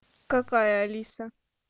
какая алиса